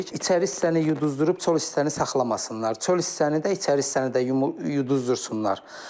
İçəri hissəni yuduzdurub çöl hissəni saxlamasınlar, çöl hissəni də, içəri hissəni də yuduzdursunlar.